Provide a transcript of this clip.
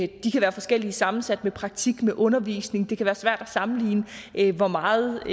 kan være forskelligt sammensat med praktik og undervisning og det kan være svært at sammenligne hvor meget